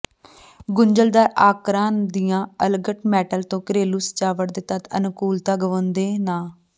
ਗੁੰਝਲਦਾਰ ਆਕਾਰਾਂ ਦੀਆਂ ਅਲੰਗਟ ਮੈਟਲ ਤੋਂ ਘਰੇਲੂ ਸਜਾਵਟ ਦੇ ਤੱਤ ਅਨੁਕੂਲਤਾ ਗੁਆਉਂਦੇ ਨਾ